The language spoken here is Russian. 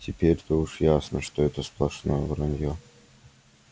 теперь-то уж ясно что это сплошное вранье